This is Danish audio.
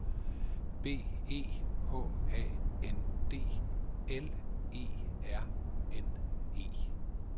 B E H A N D L E R N E